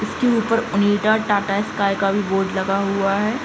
उसके उपर Onida Tata Sky का भी बोर्ड लगा हुआ है।